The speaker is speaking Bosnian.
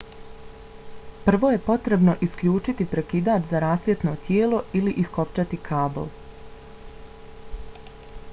prvo je potrebno isključiti prekidač za rasvjetno tijelo ili iskopčati kabl